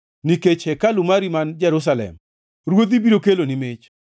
Nikech hekalu mari man Jerusalem ruodhi biro keloni mich.